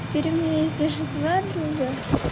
теперь у меня есть даже два друга